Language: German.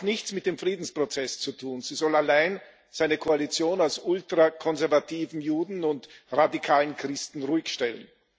Sie hat auch nichts mit dem Friedensprozess zu tun. Sie soll allein seine Koalition aus ultrakonservativen Juden und radikalen Christen ruhigstellen.